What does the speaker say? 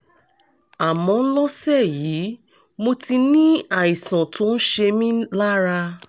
àmọ́ lọ́sẹ̀ yìí mo ti ní àìsàn tó ń ṣe mí lára